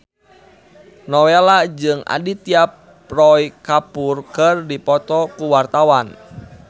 Nowela jeung Aditya Roy Kapoor keur dipoto ku wartawan